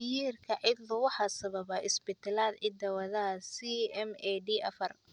Myhrka cidlo waxaa sababa isbeddellada hidda-wadaha SMAD afar.